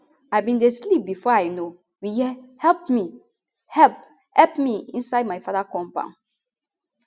i bin dey sleep bifor i know we hear help me help help me inside my father compound